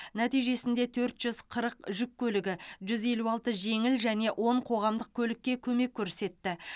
нәтижесінде төрт жүз қырық жүк көлігі жүз елу алты жеңіл және он қоғамдық көлікке көмек көрсетті